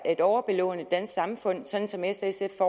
at overbelåne det samfund sådan som s og sf